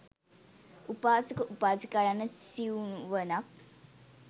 උපාසක, උපාසිකා යන සිවුවනක්